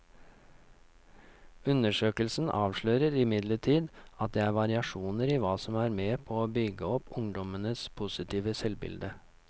Undersøkelsen avslører imidlertid at det er variasjoner i hva som er med på å bygge opp ungdommenes positive selvbilde.